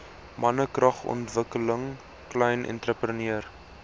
mannekragontwikkeling klein entrepreneur